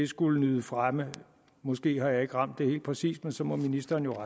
skulle nyde fremme måske har jeg ikke ramt det helt præcist men så må ministeren jo